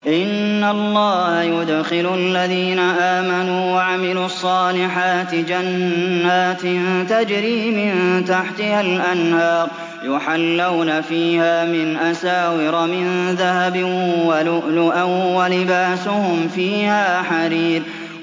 إِنَّ اللَّهَ يُدْخِلُ الَّذِينَ آمَنُوا وَعَمِلُوا الصَّالِحَاتِ جَنَّاتٍ تَجْرِي مِن تَحْتِهَا الْأَنْهَارُ يُحَلَّوْنَ فِيهَا مِنْ أَسَاوِرَ مِن ذَهَبٍ وَلُؤْلُؤًا ۖ وَلِبَاسُهُمْ فِيهَا حَرِيرٌ